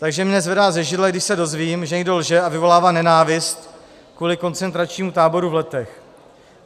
Takže mě zvedá ze židle, když se dozvím, že někdo lže a vyvolává nenávist kvůli koncentračnímu táboru v Letech.